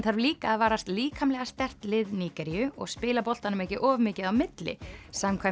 þarf líka að varast líkamlega sterkt lið Nígeríu og spila boltanum ekki of mikið á milli samkvæmt